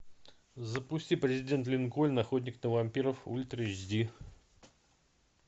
запусти президент линкольн охотник на вампиров ультра эйч ди